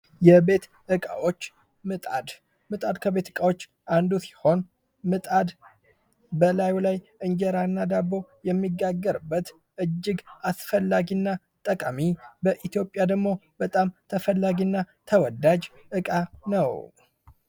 የቤት እቃዎች ምጣድ፡- ምጣድ ከቤት ዕቃዎች አንዱ ሲሆን ምጣድ በላዩ ላይ እንጀራ እና ዳቦ የሚጋገርበት እጅግ አስፈላጊ እና ጠቃሚ በኢትዮጵያ ደግሞ በጣም ተወዳጅ ዕቃ ነው።